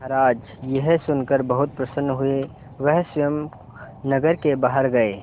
महाराज यह सुनकर बहुत प्रसन्न हुए वह स्वयं नगर के बाहर गए